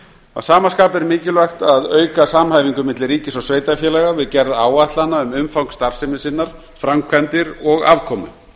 að sama skapi er mikilvægt að auka samhæfingu milli ríkis og sveitarfélaga við gerð áætlana um umfang starfsemi sinnar framkvæmdir og afkomu